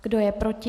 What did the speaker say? Kdo je proti?